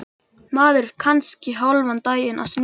Maður er kannski hálfan daginn að snúa sér í gang.